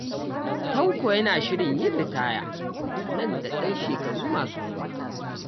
Tanko yana shirin yin ritaya nan da 'yan shekaru masu zuwa.